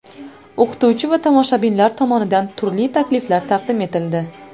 O‘qituvchi va tomoshabinlar tomonidan turli takliflar taqdim etildi.